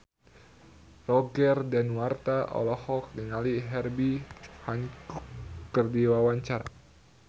Roger Danuarta olohok ningali Herbie Hancock keur diwawancara